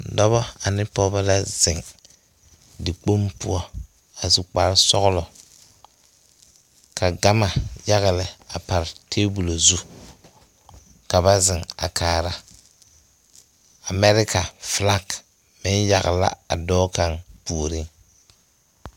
Dɔba ne pɔgeba la maŋ zeŋ dikpoŋ poɔ a su kparre sɔglɔ ka gama yaga lɛ a pare tabol zu ka ba zeŋ a kaara amɛleka filak a are dɔɔ kaŋ puoriŋ.